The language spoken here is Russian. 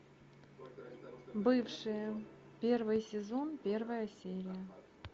бывшие первый сезон первая серия